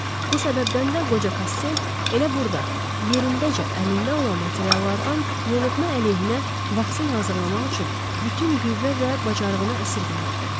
Bu səbəbdən də qoca Kastel elə burda, yerindəcə əlində olan materiallardan yoluxma əleyhinə vaksin hazırlamaq üçün bütün qüvvə və bacarığını əsirgəmirdi.